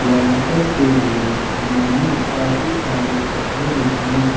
लेंटर के लिए उन्होंने काफी सारे पटले बिछाएं हैं।